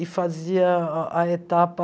E fazia a etapa...